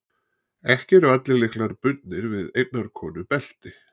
Ekki eru allir lyklar bundnir við einnar konu belti.